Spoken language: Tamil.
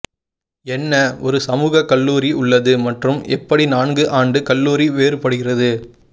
என்ன ஒரு சமூக கல்லூரி உள்ளது மற்றும் எப்படி நான்கு ஆண்டு கல்லூரி வேறுபடுகிறது